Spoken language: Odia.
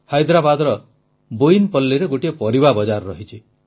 ହାଇଦ୍ରାବାଦର ବୋୟିନପଲ୍ଲୀରେ ଗୋଟିଏ ପରିବା ବଜାର ରହିଛି